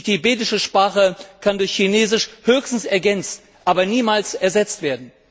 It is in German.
Die tibetische Sprache kann durch Chinesisch höchstens ergänzt, aber niemals ersetzt werden.